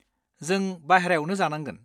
जों बायह्रायावनो जानांगोन।